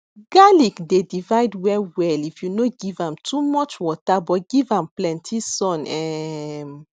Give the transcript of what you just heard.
garlic dey divide well well if you no give am too much water but give am plenty sun um